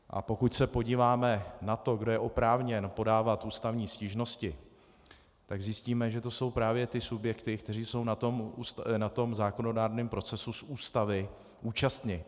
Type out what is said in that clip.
A pokud se podíváme na to, kdo je oprávněn podávat ústavní stížnosti, tak zjistíme, že to jsou právě ty subjekty, které jsou na tom zákonodárném procesu z Ústavy účastni.